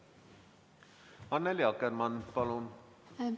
Annely Akkermann, palun!